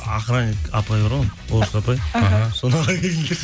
охраник апай бар ғой орыс апай іхі соны ала келіңдерші